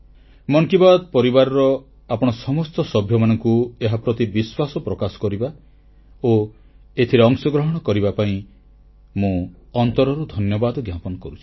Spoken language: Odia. ମନ କି ବାତ୍ ପରିବାରର ଆପଣ ସମସ୍ତ ସଭ୍ୟମାନଙ୍କୁ ଏହାପ୍ରତି ବିଶ୍ୱାସ ପ୍ରକାଶ କରିବା ଓ ଏଥିରେ ଅଂଶଗ୍ରହଣ କରିଥିବା ହେତୁ ମୁଁ ଅନ୍ତରରୁ ଧନ୍ୟବାଦ ଜ୍ଞାପନ କରୁଛି